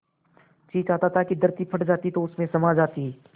जी चाहता था कि धरती फट जाती तो उसमें समा जाती